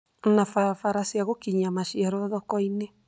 na barabara cia gũkinyia maciaro thoko-inĩ,